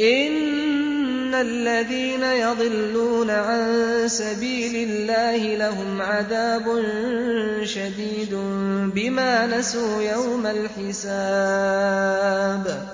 إِنَّ الَّذِينَ يَضِلُّونَ عَن سَبِيلِ اللَّهِ لَهُمْ عَذَابٌ شَدِيدٌ بِمَا نَسُوا يَوْمَ الْحِسَابِ